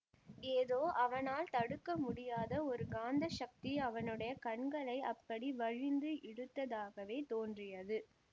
ஏதோ அவனால் தடுக்க முடியாத ஒரு காந்தசக்தி அவனுடைய கண்களை அப்படி வலிந்து இழுத்ததாகவே தோன்றியது